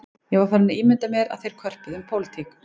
Ég var farinn að ímynda mér að þeir körpuðu um pólitík